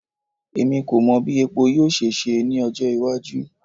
Emi ko mọ bi epo yoo ṣe ṣe ni ọjọ iwaju